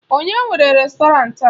Onye nwe rèstọrantị a?